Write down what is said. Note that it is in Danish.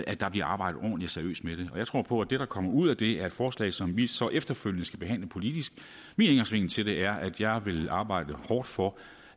at der bliver arbejdet ordentligt og seriøst med det jeg tror på at det der kommer ud af det er et forslag som vi så efterfølgende skal behandle politisk min indgangsvinkel til det er at jeg vil arbejde hårdt for